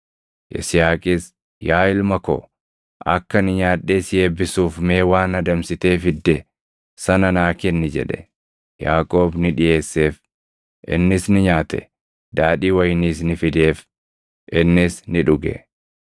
Yisihaaqis, “Yaa ilma ko, akka ani nyaadhee si eebbisuuf mee waan adamsitee fidde sana naa kenni” jedhe. Yaaqoob ni dhiʼeesseef; innis ni nyaate; daadhii wayiniis ni fideef; innis ni dhuge.